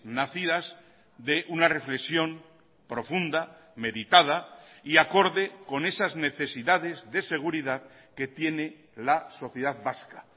nacidas de una reflexión profunda meditada y acorde con esas necesidades de seguridad que tiene la sociedad vasca